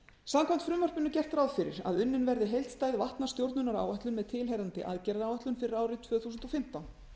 samkvæmt frumvarpinu er gert ráð fyrir að unnin verði heildstæð vatnastjórnunaráætlun með tilheyrandi aðgerðaráætlun fyrir árið tvö þúsund og fimmtán